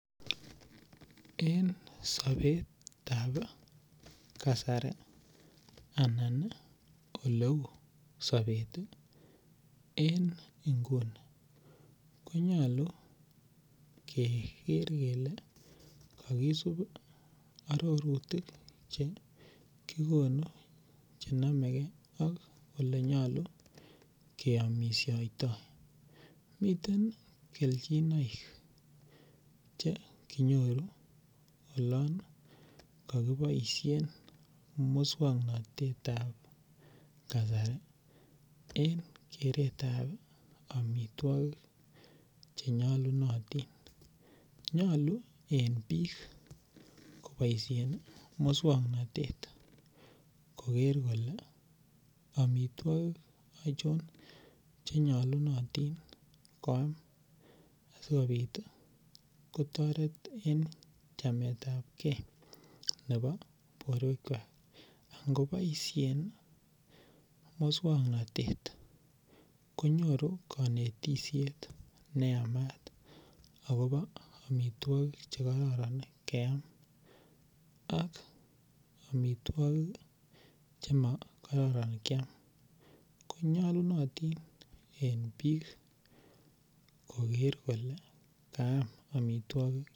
En sobetab kasari anan oleu sobet en inguni konyolu keker kele kokisib ororutik chekikonu chenome kee ak elenyolu keyomishotoi miten keljinoik chekinyoru olon kokiboishen muswoknotetab kasari en keretab omitwogik chenyolunotin, nyolu en bik koboishen muswoknotet koker kole omitwogik ochon chenyolunotin koam sikobit kotoret en chametab kee nebo boruekwak anan koboishen muswoknotet konyoru konetishet neamat akobo omitwogik chekororon ok omitwogik chemokororon kiam konyolunotin en bik koker kole kaam omitwogik.